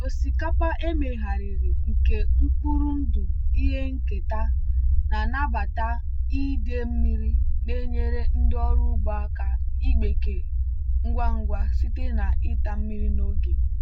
osikapa emegharịrị nke mkpụrụ ndụ ihe nketa na nnabata idei mmiri na-enyere ndị ọrụ ugbo aka ịgbake ngwa ngwa site na ịta mmiri n'oge.